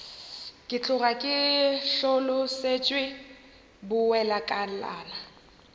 ke tloga ke hlolosetšwe bowelakalana